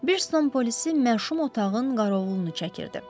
Bir stol polisi məşum otağın qarovulunu çəkirdi.